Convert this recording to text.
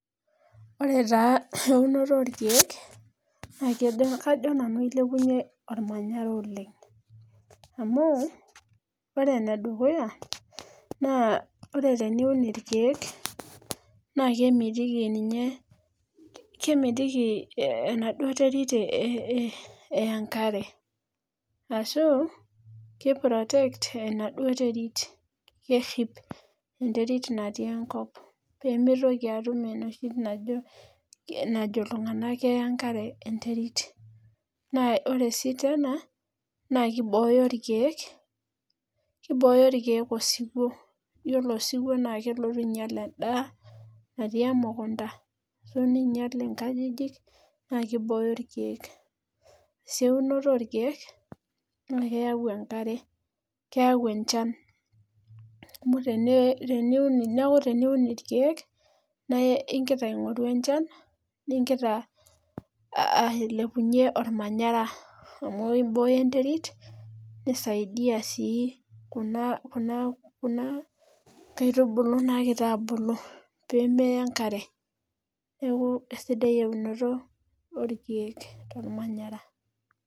Ore taa eunoto olkiek naa kajo nanu ilepunye olmanyara oleng amu ore enedukuya naa ore teniun irkiek naa kemitiki ninye kemitiki enaduo terit eya enkare ashu kiprotect enaduo terit peemitoki atum enoshi najo iltung'anak eya enkare enterit Naa ore sii naa kibooyo ilkiek osiwuo, ore osiwuo naa kelotu ainyal en'daa natii emukunda nelotu ainyal inkajijik naakibooyo ilkiek Ore sii eunoto orkiek naa keyau enkare naa keyau enchan amu teniun ilkiek naa igira aing'oru enchan nigira ailepunye olmanyara amu eibooyo enterit nisaidia sii kuna kaitibulu naagira abulu pee meya enkare neeku esidai eunoto olkiek tolmanyara